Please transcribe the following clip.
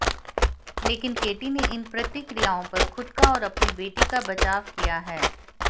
लेकिन केटी ने इन प्रतिक्रियाओं पर खुद का और अपनी बेटी का बचाव किया है